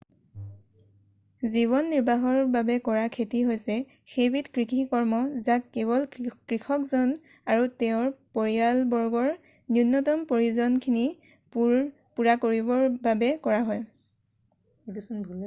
জীৱন নিৰ্বাহৰ বাবে কৰা খেতি হৈছে সেইবিধ কৃষিকৰ্ম যাক কেৱল কৃষকজন আৰু তেওঁৰ পৰিয়ালবৰ্গৰ ন্যূনতম প্ৰয়োজনখিনি পূৰা কৰিবৰ বাবে কৰা হয়